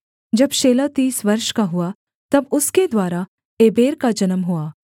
जब शेलह तीस वर्ष का हुआ तब उसके द्वारा एबेर का जन्म हुआ